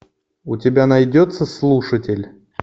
у тебя найдется слушатель